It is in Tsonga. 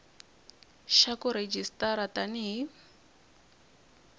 xa ku rejistara tani hi